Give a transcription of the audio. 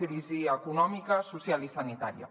crisi econòmica social i sanitària